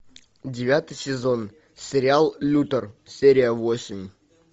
девятый сезон сериал лютер серия восемь